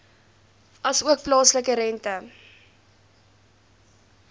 asook plaaslike rente